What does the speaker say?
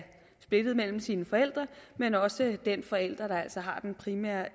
splittet mellem sine forældre men også over den forælder der altså har den primære